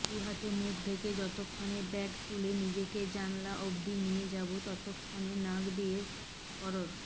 দুহাতে মুখ ঢেকে যতক্ষণে ব্যাগ তুলে নিজেকে জানলা অবধি নিয়ে যাবো ততক্ষনে নাক দিয়ে ফরর